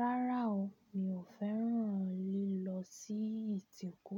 Rárá o, mi ò fẹ́ràn lílọ sí ìtìkú,